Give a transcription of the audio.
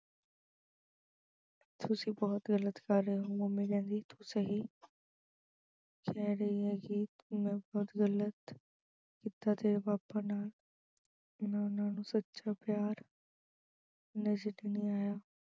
ਤੁਸੀਂ ਬਹੁਤ ਗਲਤ ਕਰ ਰਹੇ ਹੋ। mummy ਕਹਿੰਦੀ ਤੂੰ ਸਹੀ ਕਹਿ ਰਹੀ ਆ ਕਿ ਮੈਂ ਬਹੁਤ ਗਲਤ ਕੀਤਾ ਤੇਰੇ papa ਨਾਲ ਉਹਨਾਂ ਦਾ ਸੱਚਾ ਪਿਆਰ ਨਜ਼ਰ ਹੀ ਨਹੀਂ ਆਇਆ।